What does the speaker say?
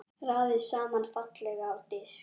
Raðið saman fallega á disk.